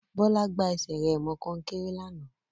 Bọ́lá gbá ẹsẹ̀ rẹ̀ mọ kọ́nkéré lánàá